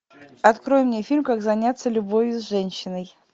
открой мне фильм как заняться любовью с женщиной